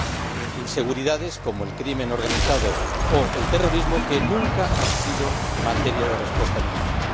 a inseguridades como el crimen organizado o el terrorismo, que nunca han sido materia de respuesta militar.